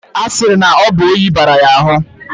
A siri na obu onyi bara ya ahu